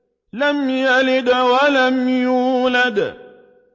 لَمْ يَلِدْ وَلَمْ يُولَدْ